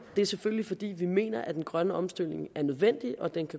det er selvfølgelig fordi vi mener at den grønne omstilling er nødvendig og